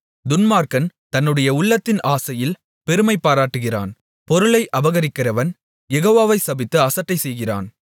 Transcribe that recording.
துன்மார்க்கன் தன்னுடைய உள்ளத்தின் ஆசையில் பெருமை பாராட்டுகிறான் பொருளை அபகரிக்கிறவன் யெகோவாவைச் சபித்து அசட்டைசெய்கிறான்